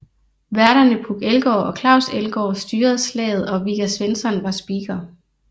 Værterne Puk Elgård og Claus Elgaard styrede slaget og Vigga Svensson var speaker